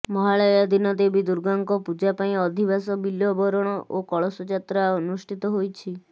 ମହାଳୟା ଦିନ ଦେବୀ ଦୂର୍ଗାଙ୍କ ପୂଜାପାଇଁ ଅଧିବାସ ବିଲ୍ବବରଣ ଓ କଳସ ଯାତ୍ରା ଅନୁଷ୍ଠିତ ହୋଇଛି